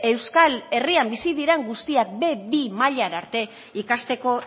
euskal herrian bizi diren guztiak be bi mailara arte ikasteko